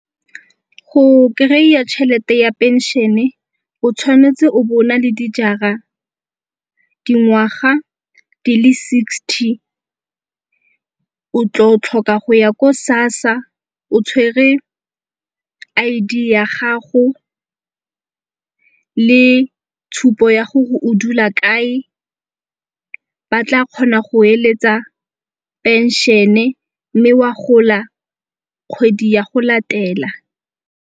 Go kry-a tšhelete ya phenšene o tshwanetse o bo o na le dijara, dingwaga di le sixty. O tlo tlhoka go ya ko SASSA o tshwere I_D ya gago le tshupo ya gore o dula kae. Ba tla kgona go eletsa phenšene mme wa gola kgwedi ya go latela.